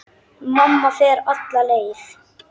Mamma fer alla leið.